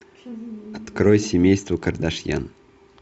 открой семейство кардашьян